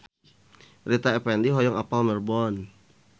Rita Effendy hoyong apal Melbourne